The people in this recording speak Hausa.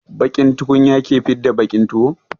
Baƙin tukunya ke fidda baƙin tuwo.